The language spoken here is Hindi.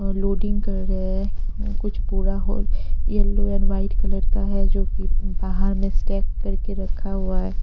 लोडिंग कर रहे हैं कुछ पूरा whole a yellow and white colour का है जो कि बाहर में स्टैक करके रखा हुआ है।